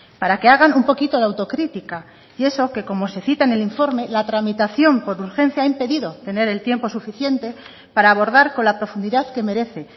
para que hagan un poquito de autocrítica y eso que como se cita en el informe la tramitación por urgencia ha impedido tener el tiempo suficiente para abordar con la profundidad que merece